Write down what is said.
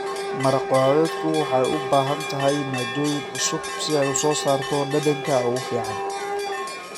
Maraq khudradeedku waxay u baahan tahay maaddooyin cusub si ay u soo saarto dhadhanka ugu fiican.